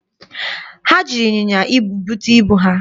Ha jiri ịnyịnya ibu bute ibu ha?